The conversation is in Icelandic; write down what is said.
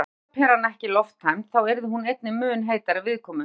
Væri ljósaperan ekki lofttæmd þá yrði hún einnig mun heitari viðkomu.